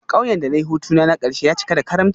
Kauyen da na yi hutuna na karshe ya cika da karimci